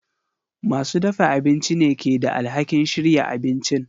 Masu dafa abinci ne ke da alhakin shirya abincin.